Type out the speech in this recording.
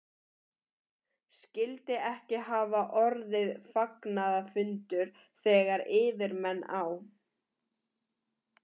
Skyldi ekki hafa orðið fagnaðarfundur, þegar yfirmenn á